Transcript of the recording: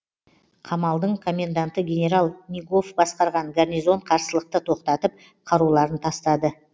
қамалдың коменданты генерал нигоф басқарған гарнизон қарсылықты тоқтатып қаруларын тастады